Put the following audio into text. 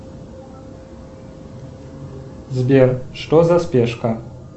сбер что за спешка